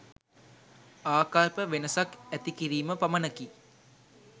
ආකල්ප වෙනසක් ඇති කිරීම පමණකි.